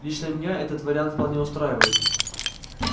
лично меня этот вариант вполне устраивает